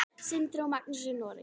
Sindri og Magnús í Noregi.